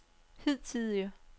hidtidige